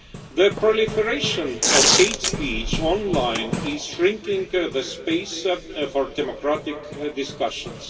The proliferation of hate speech online is shrinking the space for democratic discussions.